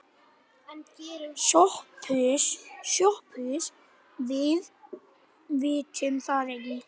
SOPHUS: Við vitum það ekki.